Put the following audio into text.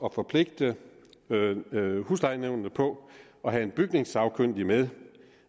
at forpligte huslejenævnene på at have en bygningssagkyndig med